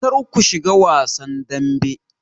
Kar ku shiga wasan dambe!